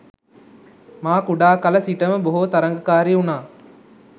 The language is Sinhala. මා කුඩා කළ සිටම බොහෝ තරගකාරි වුණා.